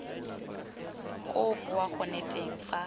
koo boa gone teng fa